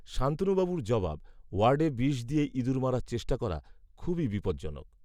শান্তনুবাবুর জবাব, ওয়ার্ডে বিষ দিয়ে ইঁদুর মারার চেষ্টা করা, খুবই বিপজ্জনক